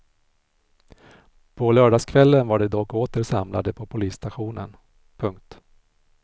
På lördagskvällen var de dock åter samlade på polisstationen. punkt